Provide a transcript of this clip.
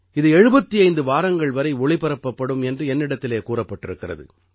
இது 75 வாரங்கள் வரை ஒளிபரப்பப்படும் என்று என்னிடத்திலே கூறப்பட்டிருக்கிறது